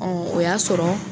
Ɔn o y'a sɔrɔ